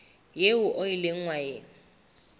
eo o ileng wa e